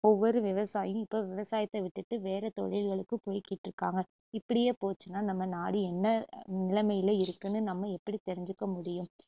ஒவ்வொரு விவசாயி இப்ப விவசாயத்தை விட்டுட்டு வேற தொழில்களுக்கு போயிக்கிட்டு இருக்காங்க இப்படியே போச்சுனா நம்ம நாடு என்ன அ~ நிலமையில இருக்குன்னு நம்ம எப்படி தெரிஞ்சுக்க முடியும்